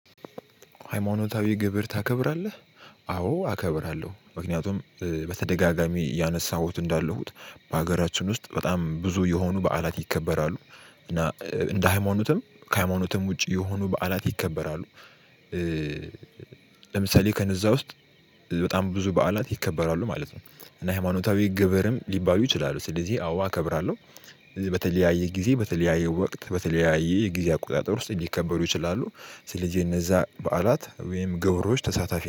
ሃይማኖታዊ ግብር ታከብራለህ? አዎ አከብራለሁ። ምክንያቱም በተደጋጋሚ ያነሳሁት እንዳለሁት በሀገራችን ውስጥ በጣም ብዙ የሆኑ በዓላት ይከበራሉ። እና እንደ ሃይማኖትም ከሃይማኖትም ውጪ የሆኑ በዓላት ይከበራሉ። ለምሳሌ ከነዛ በጣም ብዙ በዓላት ይከበራሉ ማለት ነው። እና ሃይማኖታዊ ግብርም ሊባሉ ይችላሉ። ስለዚህ አዎ አከብራለሁ። በትለያየ ጊዜ በተለያየ ወቅት በተለያየ የጊዜ አቆጣጠር ውስጥ ሊከበሩ ይችላሉ። ስለዚህ እነዛ በዓላት ወይም ገብሮች ተሳታፊ-